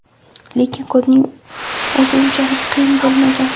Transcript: Lekin kodning o‘zi unchalik qiyin bo‘lmagan.